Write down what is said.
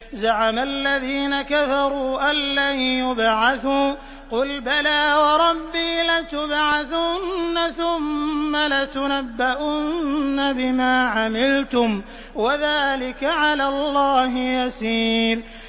زَعَمَ الَّذِينَ كَفَرُوا أَن لَّن يُبْعَثُوا ۚ قُلْ بَلَىٰ وَرَبِّي لَتُبْعَثُنَّ ثُمَّ لَتُنَبَّؤُنَّ بِمَا عَمِلْتُمْ ۚ وَذَٰلِكَ عَلَى اللَّهِ يَسِيرٌ